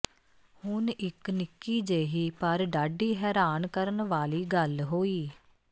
ਹੁਣ ਇਕ ਨਿੱਕੀ ਜਿਹੀ ਪਰ ਡਾਢੀ ਹੈਰਾਨ ਕਰਨ ਵਾਲੀ ਗਲ ਹੋਈ